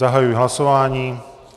Zahajuji hlasování.